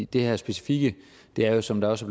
det her specifikke er jo som der også